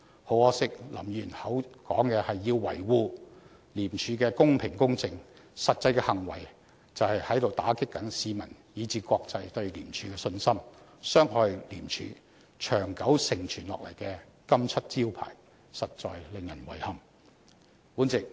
很可惜，林議員口說要維護廉署的公平、公正，但其實際的行為，卻是在打擊市民、甚至國際社會對廉署的信心，捐害廉署長久承傳下來的"金漆招牌"，實在令人遺憾。